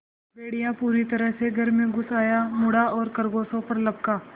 भेड़िया पूरी तरह से घर में घुस आया मुड़ा और खरगोशों पर लपका